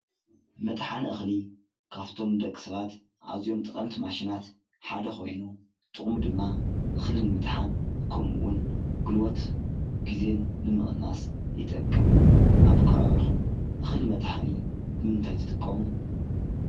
መጥሓኒ እክሊ ካብቶም ንደቂ ሰባት አዚዮም ጠቀምቲ ማሽናት ሓደ ኮይኑ ጥቅሙ ድማ እክሊ ንምጥሓን ከምኡ እውን ጉልበትን ግዜን ንምቅናስ ይጠቅም አብ ከባቢኩም እክሊ መጥሐኒ ብምንታይ ትጥቀሙ?